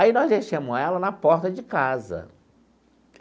Aí nós deixamos ela na porta de casa.